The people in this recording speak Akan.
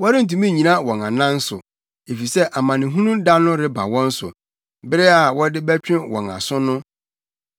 wɔrentumi nnyina wɔn anan so, efisɛ amanehunu da no reba wɔn so, bere a wɔde bɛtwe wɔn aso no.